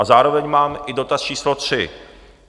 A zároveň mám i dotaz číslo tři.